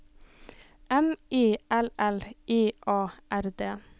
M I L L I A R D